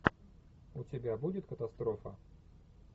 у тебя будет катастрофа